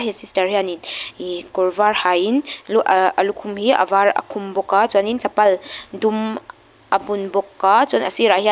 sister hianin ih kawr var hain lu ah a lukhum hi a var a khum bawk a chuanin chapal dum a bun bawk a chuan a sirah hian --